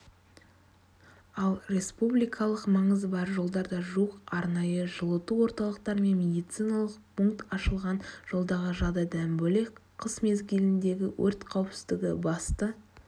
ал республикалық маңызы бар жолдарда жуық арнайы жылыту орталықтары мен медициналық пункт ашылған жолдағы жағдайдан бөлек қыс мезгіліндегі өрт қауіпсіздігі басты